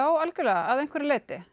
algjörlega að einhverju leyti